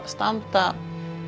standa